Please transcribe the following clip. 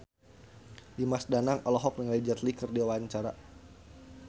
Dimas Danang olohok ningali Jet Li keur diwawancara